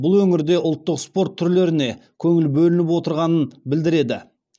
бұл өңірде ұлттық спорт түрлеріне көңіл бөлініп отырғанын білдіреді